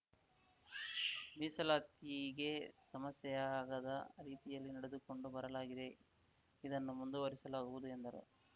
ಮೀಸಲಾತಿಗೆ ಸಮಸ್ಯೆಯಾಗದ ರೀತಿಯಲ್ಲಿ ನಡೆದುಕೊಂಡು ಬರಲಾಗಿದೆ ಇದನ್ನು ಮುಂದುವರಿಸಲಾಗುವುದು ಎಂದರು